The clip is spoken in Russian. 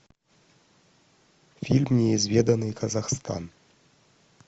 фильм неизведанный казахстан